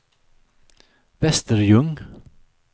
Västerljung